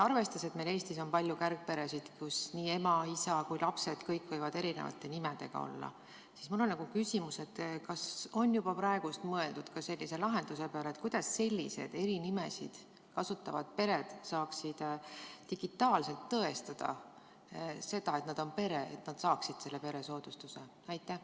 Arvestades, et meil Eestis on palju kärgperesid, kus ema, isa, lapsed, kõik võivad olla eri nimega, siis mul on küsimus: kas on juba praegu mõeldud sellise lahenduse peale, kuidas sellised eri nimesid kasutavad pered saaksid digitaalselt tõestada seda, et nad on pere, et nad saaksid peresoodustuse?